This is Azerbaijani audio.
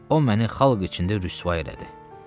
O məni xalq içində rüsva elədi.